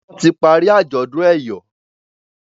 Wón tí parí ajọdun eyọ